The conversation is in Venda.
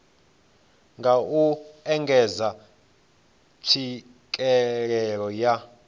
nga u engedza tswikelelo ya